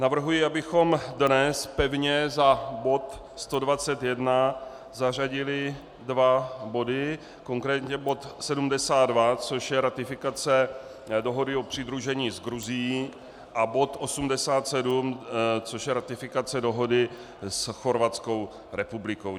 Navrhuji, abychom dnes pevně za bod 121 zařadili dva body - konkrétně bod 72, což je ratifikace dohody o přidružení s Gruzií, a bod 87, což je ratifikace dohody s Chorvatskou republikou.